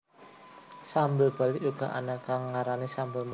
Sambel Bali uga ana kang ngarani sambal matah